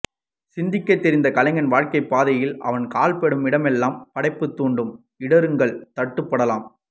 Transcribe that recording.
சிந்திக்கத் தெரிந்த ஒரு கலைஞன் வாழ்க்கைப் பாதையில் அவன் கால்படும் இடமெல்லாம் படைப்பைத் தூண்டும் இடறும் கல் தட்டுப்படலாம்